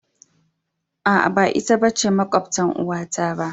Aa, ba ita ce makwabtan uwata ba.